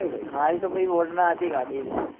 મારી તો ભાઈ varna હતી ગાડી